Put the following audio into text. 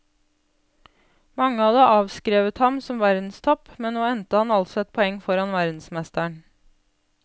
Mange hadde avskrevet ham som verdenstopp, men nå endte han altså ett poeng foran verdensmesteren.